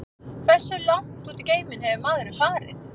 Hversu langt út í geiminn hefur maðurinn farið?